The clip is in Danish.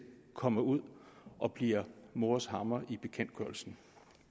kommer ud og bliver mors hammer i bekendtgørelsen